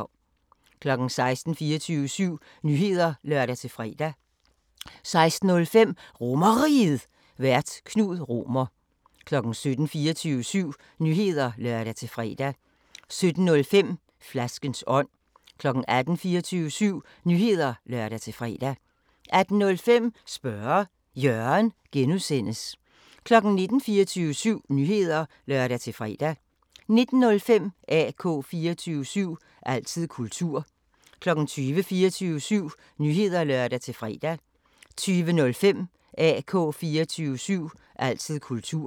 16:00: 24syv Nyheder (lør-fre) 16:05: RomerRiget, Vært: Knud Romer 17:00: 24syv Nyheder (lør-fre) 17:05: Flaskens ånd 18:00: 24syv Nyheder (lør-fre) 18:05: Spørge Jørgen (G) 19:00: 24syv Nyheder (lør-fre) 19:05: AK 24syv – altid kultur 20:00: 24syv Nyheder (lør-fre) 20:05: AK 24syv – altid kultur